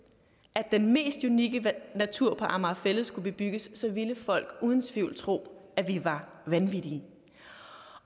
at den mest unikke natur på amager fælled skulle bebygges ville folk uden tvivl tro at vi var vanvittige